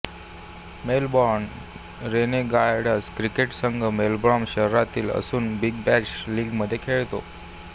Melbourne Renegades cricket संघ Melbourne शहरातील असून बिग बॅश लीग मध्ये खेळतो